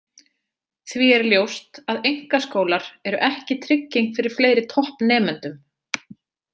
Því er ljóst að einkaskólar eru ekki trygging fyrir fleiri toppnemendum.